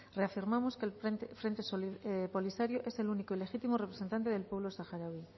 reafirmamos que el frente polisario es el único legítimo representante del pueblo saharaui